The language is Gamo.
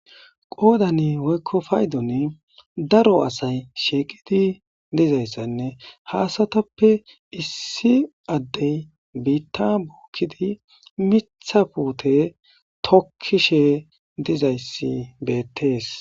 Qoodani woyko paydoni daro asayi shiiqid dizaysanne ha asatappe issi Adey biita bookidi miitha puute tokishe dizaysi beetesi.